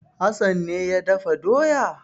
Hassan ne ya dafa doya?